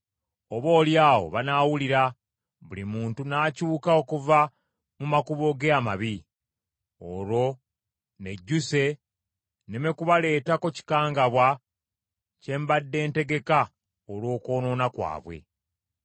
Oboolyawo banaawulira, buli muntu n’akyuka okuva mu makubo ge amabi. Olwo nnejjuse nneme kubaleetako kikangabwa kyembadde ntegeka olw’okwonoona kwabwe.